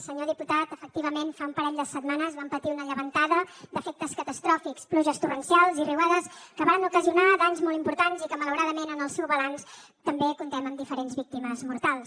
senyor diputat efectivament fa un parell de setmanes vam patir una llevantada d’efectes catastròfics pluges torrencials i riuades que varen ocasionar danys molt importants i que malauradament en el seu balanç també comptem amb diferents víctimes mortals